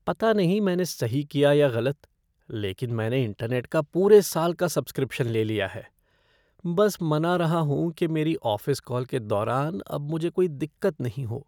पता नहीं मैंने सही किया या गलत, लेकिन मैंने इंटरनेट का पूरे साल का सब्सक्रिप्शन ले लिया है, बस मना रहा हूँ कि मेरी ऑफ़िस कॉल के दौरान अब मुझे कोई दिक्कत नहीं हो।